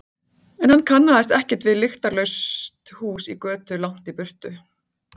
En hann kannaðist ekkert við lyktarlaust hús í götu langt í burtu.